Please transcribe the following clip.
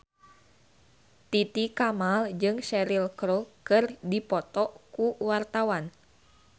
Titi Kamal jeung Cheryl Crow keur dipoto ku wartawan